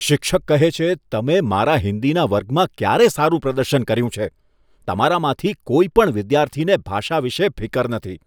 શિક્ષક કહે છે, તમે મારા હિન્દીના વર્ગમાં ક્યારે સારું પ્રદર્શન કર્યું છે? તમારામાંથી કોઈ પણ વિદ્યાર્થીને ભાષા વિશે ફિકર નથી.